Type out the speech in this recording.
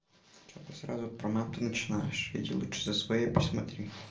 сразу про маму начинаешь видела что за своей посмотри